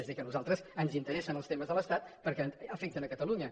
és a dir que a nosaltres ens interessen els temes de l’estat perquè afecten catalunya